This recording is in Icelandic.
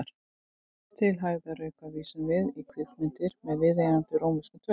Til hægðarauka vísum við í kvikmyndirnar með viðeigandi rómverskum tölum.